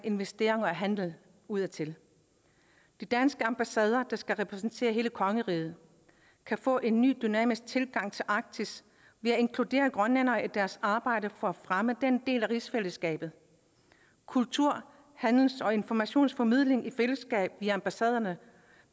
investeringer og handel udadtil de danske ambassader der skal repræsentere hele kongeriget kan få en ny dynamisk tilgang til arktis ved at inkludere grønlændere i deres arbejde for at fremme den del af rigsfællesskabet kultur handels og informationsformidling i fællesskab via ambassaderne